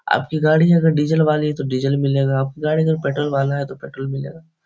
आपकी गाड़ी अगर डीजल वाली है तो डीजल मिलेगा आपकी गाड़ी पेट्रोल वाली है तो पेट्रोल मिलेगा।